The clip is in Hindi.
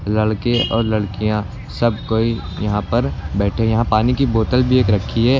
लड़के और लड़कियां सब कोई यहां पर बैठे यहां पानी की बोतल भी एक रखी है।